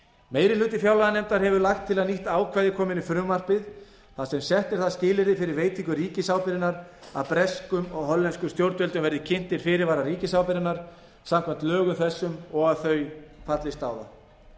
meiri hluti fjárlaganefndar hefur lagt til að nýtt ákvæði komi inn í frumvarpið þar sem sett er það skilyrði fyrir veitingu ríkisábyrgðarinnar að breskum og hollenskum stjórnvöldum verði kynntir fyrirvarar ríkisábyrgðarinnar samkvæmt lögum þessum og að þau fallist á þá